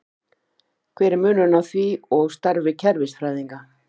Hver er munurinn á því og starfi kerfisfræðinga?